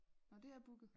Nåh det er booket?